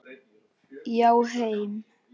Já, heim.